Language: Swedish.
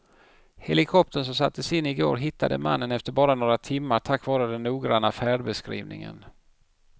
Helikoptern som sattes in i går hittade mannen efter bara några timmar tack vare den noggranna färdbeskrivningen.